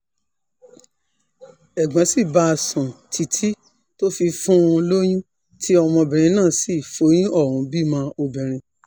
ẹ̀gbọ́n sì bá a sùn títí tó fi fún un lóyún tí ọmọbìnrin náà sì foyún ohùn bímọ obìnrin